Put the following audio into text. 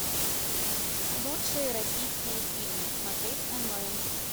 лучшие российские фильмы смотреть онлайн